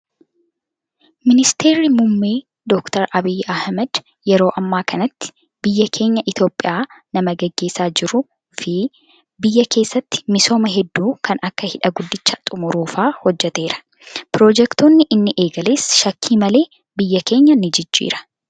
Ministeerri muummee doktar Abiyyi Ahmad yeroo ammaa kanatti biyya keenya Itoophiyaa nama gaggeessaa jiruu fi biyya keessatti misooma hedduu kan akka hidha guddicha xumuruu fa'aa hojjataeera. Piroojeektonni inni eegales shakkii malee biyya keenya ni jijjiira.